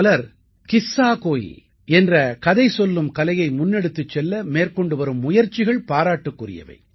பலர் கிஸ்ஸாகோயி என்ற கதை சொல்லும் கலையை முன்னெடுத்துச் செல்ல மேற்கொண்டு வரும் முயற்சிகள் பாராட்டுக்குரியவை